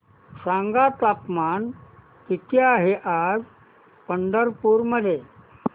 सांगा तापमान किती आहे आज पंढरपूर मध्ये